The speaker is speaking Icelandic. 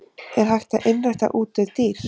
Er hægt að einrækta útdauð dýr?